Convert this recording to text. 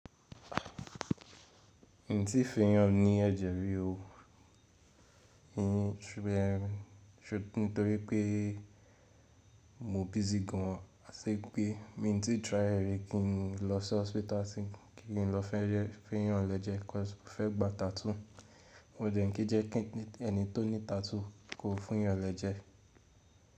Mi n tí fun eyán ní ẹ̀jẹ̀ mi rí o. Nítorí pé mo busy gan an, áti ipé mi ń tí try rẹ rí kí n lọ sí hospital sin kí n lọ fẹ́yàn lẹjẹ́ because mo fẹ́ gba tattoo. Wọn dẹ̀ń kí jẹ́ kí ẹni tó ní tattoo kò fún yàn lẹjẹ́.